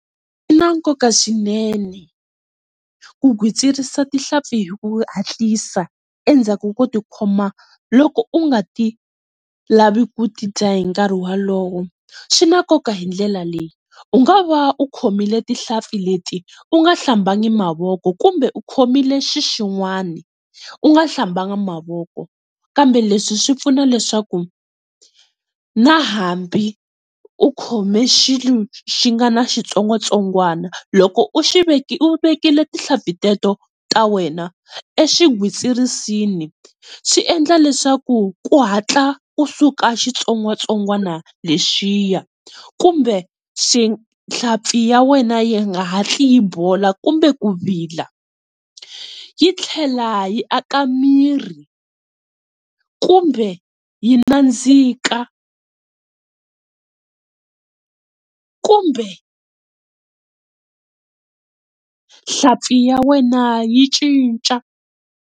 Swi na nkoka swinene ku gwitsirisa tihlampfi hi ku hatlisa endzhaku koti khoma loko u nga ti lavi ku tidya hinkarhi wa lowo swi na nkoka hi ndlela leyi u nga va u khomile tihlampfi leti u nga hlambanya mavoko kumbe u khomile xixin'wani u nga hlambanga mavoko kambe leswi swi pfuna leswaku na hambi u khomile xilo xi nga ni xitsongwatsongwana loko u xi, u vekile tinhlampi teto ta wena exigwitsirisi swi endla leswaku ku hatla kusuka xitsongwatsongwana lexiya kumbe xi hlampfi ya wena yi nga hatli yi bola kumbe ku vila, yi tlhela yi aka mirhi kumbe yi nandzika kumbe nhlampfi ya wena yi cinca.